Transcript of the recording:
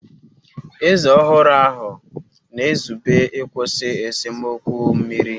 Eze ọhụrụ ahụ na-ezube ịkwụsị esemokwu mmiri.